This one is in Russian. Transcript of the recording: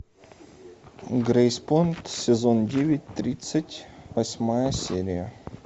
грейспун сезон девять тридцать восьмая серия